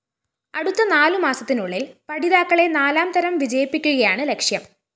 അടുത്ത നാലു മാസത്തിനുളളില്‍ പഠിതാക്കളെ നാലാംതരം വിജയിപ്പിക്കുകയാണ് ലക്ഷ്യം